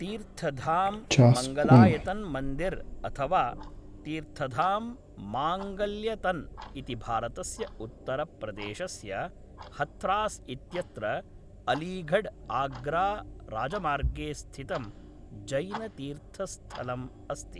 तीर्थधाम् मङ्गलायतन् मन्दिर् अथवा तीर्थधाम् माङ्गल्यतन् इति भारतस्य उत्तरप्रदेशस्य हथ्रास् इत्यत्र अलीगढ् आग्राराजमार्गे स्थितं जैनतीर्थस्थलम् अस्ति।